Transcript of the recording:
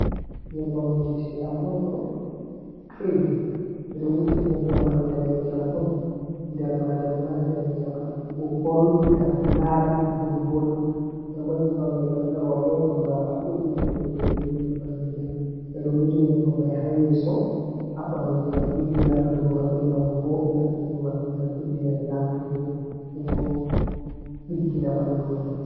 Nyebbam wujeteeɗam on ɗo, kirim ɓe ɗo wuja nyebbam may ndaneejam on nder maajam ma daneejam. Ɗam ɗo ɓorwi, ɗam ɗo laaɓi, ɗam ɗo vooɗi. Nden bo nyebbam man rowɓe on ɓurnaa pat ɗuuɗi naftirgo bee irin Nyebbamji may. Ɓe ɗo wuja nyebbam may ha yeeso, ha ɓanndu ngam ɗiggina ɓanndu maɓɓe, ngam vo'ina ɓanndu maɓɓe, ngam ɓeddina ɓe laaɓugo boo ɗiggina ɓanndu may.